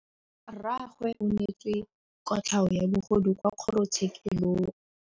Rragwe o neetswe kotlhaô ya bogodu kwa kgoro tshêkêlông.